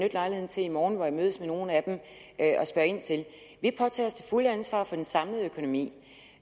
til i morgen hvor jeg mødes med nogle af dem vi påtager os det fulde ansvar for den samlede økonomi